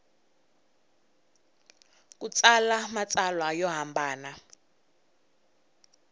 ku tsala matsalwa yo hambana